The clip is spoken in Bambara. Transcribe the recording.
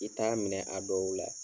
I t'a minɛ a dɔw la